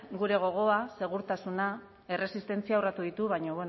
gure gogoa segurtasuna erresistentzia urratu ditu baina